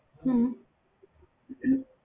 ਹਮ